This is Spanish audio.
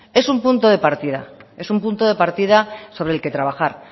es un punto de partida es un punto de partida sobre el que trabajar